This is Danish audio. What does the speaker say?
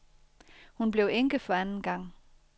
Hun blev enke for anden gang.